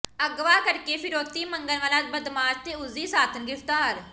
ਅਗਵਾ ਕਰਕੇ ਫਿਰੌਤੀ ਮੰਗਣ ਵਾਲਾ ਬਦਮਾਸ਼ ਤੇ ਉਸਦੀ ਸਾਥਣ ਗ੍ਰਿਫਤਾਰ